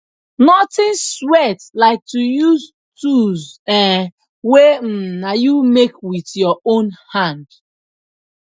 nothing sweat like to use tools um wey um na you make wit yur own hand